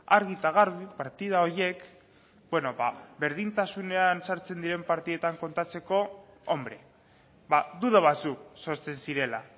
argi eta garbi partida horiek berdintasunean sartzen diren partidetan kontatzeko hombre duda batzuk sortzen zirela